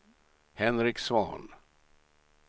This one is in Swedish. Henrik Svahn